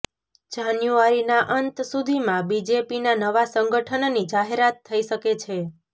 જાન્યુઆરીનાં અંત સુધીમાં બીજેપીના નવા સંગઠનની જાહેરાત થઈ શકે છે